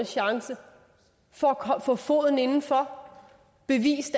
chance for at få foden indenfor og bevise